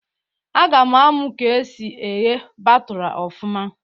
A ga-amụ ka esi eghe batụra ọfụma